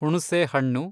ಹುಣುಸೆಹಣ್ಣು